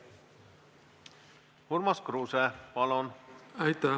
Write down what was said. Urmas Kruuse, palun!